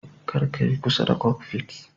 Kar ka yi kusa da "kokfit".